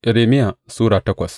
Irmiya Sura takwas